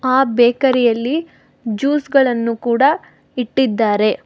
ಆ ಬೇಕರಿಯಲ್ಲಿ ಜ್ಯೂಸ್ ಗಳನ್ನು ಕೂಡ ಇಟ್ಟಿದ್ದಾರೆ.